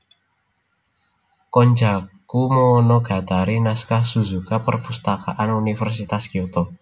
Konjaku Monogatari Naskah Suzuka Perpustakaan Universitas Kyoto